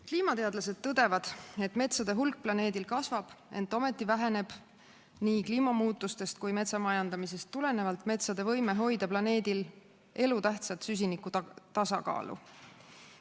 Kliimateadlased tõdevad, et metsade hulk planeedil kasvab, ent ometi väheneb nii kliimamuutustest kui metsa majandamisest tulenevalt metsade võime hoida planeedil elutähtsat süsinikutasakaalu.